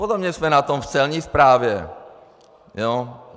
Podobně jsme na tom v Celní správě.